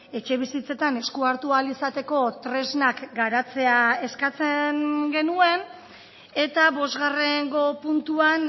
etxebizitzetan eskua hartu ahal izateko tresnak garatzea eskatzen genuen eta bosgarrengo puntuan